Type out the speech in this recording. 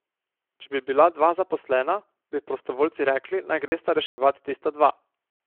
Če bi bila dva zaposlena, bi prostovoljci rekli, naj gresta reševat tista dva.